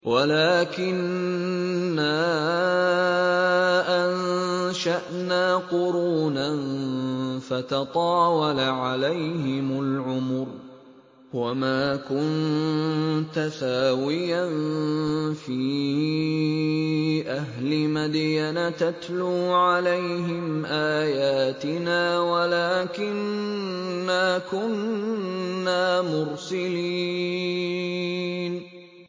وَلَٰكِنَّا أَنشَأْنَا قُرُونًا فَتَطَاوَلَ عَلَيْهِمُ الْعُمُرُ ۚ وَمَا كُنتَ ثَاوِيًا فِي أَهْلِ مَدْيَنَ تَتْلُو عَلَيْهِمْ آيَاتِنَا وَلَٰكِنَّا كُنَّا مُرْسِلِينَ